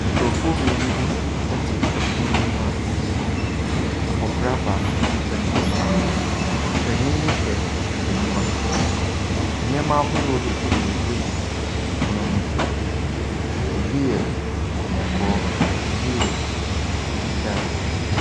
Nkurɔfoɔ mmienu bi ɛte pono bi ho a abɔfra baako panin mu baako. Panin no hyɛ ahwehwɛniwa. Nneɛma ahodoɔ bebree ɛgugu ɛpono no so. Ebi yɛ kɔkɔɔ. Ebi yɛ fitaa.